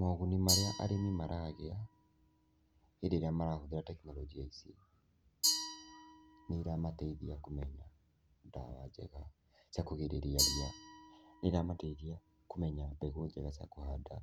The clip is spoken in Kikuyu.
Moguni marĩa arĩmi maragĩa hĩndĩ ĩrĩa marahũthĩra tekinoronjĩa ici: nĩiramateithia kũmenya ndawa njega cia kũgirĩrĩria ria. Nĩ iramateithia kũmenya mbegũ njega cia kũhanda,